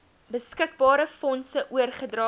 beskikbare fondse oorgedra